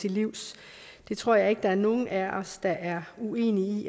til livs det tror jeg ikke der er nogen af os der er uenige i